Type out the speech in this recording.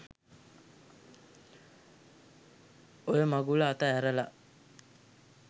ඔය මගුල අත ඇරලා